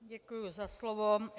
Děkuji za slovo.